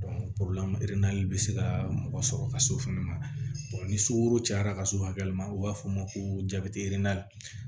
bɛ se ka mɔgɔ sɔrɔ ka s'o fɛnɛ ma ni sukoro cayara ka se o hakɛ ma o b'a fɔ o ma ko jabɛti